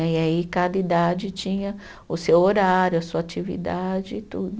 Né, e aí, cada idade tinha o seu horário, a sua atividade e tudo.